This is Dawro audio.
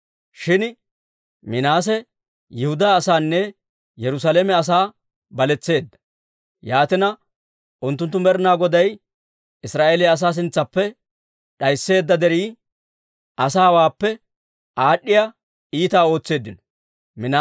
Shin Minaase Yihudaa asaanne Yerusaalame asaa baletseedda; yaatina, unttunttu Med'inaa Goday Israa'eeliyaa asaa sintsaappe d'aysseedda derii asaawaappe aad'd'iyaa iitaa ootseeddino.